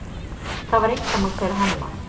Það var einkamál þeirra Hemma.